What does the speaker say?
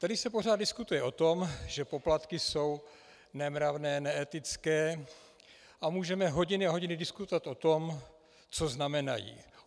Tady se pořád diskutuje o tom, že poplatky jsou nemravné, neetické, a můžeme hodiny a hodiny diskutovat o tom, co znamenají.